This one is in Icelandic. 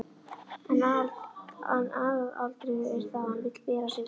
En aðalatriðið er það að hann vill bera sig vel.